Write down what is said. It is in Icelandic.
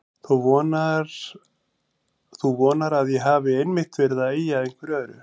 Þú vonar að ég hafi einmitt verið að ýja að einhverju öðru.